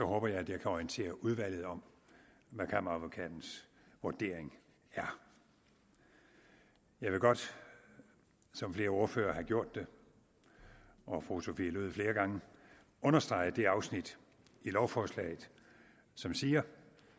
håber jeg at jeg kan orientere udvalget om hvad kammeradvokatens vurdering er jeg vil godt som flere ordførere har gjort og fru sophie løhde flere gange understrege det afsnit i lovforslaget som siger